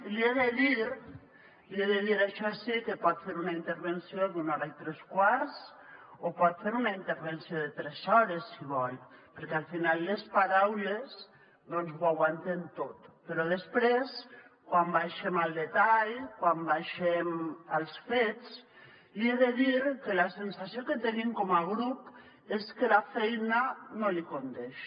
li he de dir això sí que pot fer una intervenció d’una hora i tres quarts o pot fer una intervenció de tres hores si vol perquè al final les paraules doncs ho aguanten tot però després quan baixem al detall quan baixem als fets li he de dir que la sensació que tenim com a grup és que la feina no li condeix